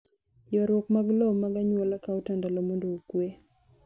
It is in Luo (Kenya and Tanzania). Ywaruok mag lowo mag anyuola kao tandalo mondo okwe.